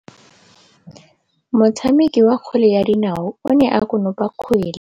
Motshameki wa kgwele ya dinaô o ne a konopa kgwele.